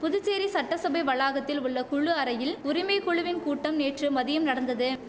புதுச்சேரி சட்டசபை வளாகத்தில் உள்ள குழு அறையில் உரிமை குழுவின் கூட்டம் நேற்று மதியம் நடந்தது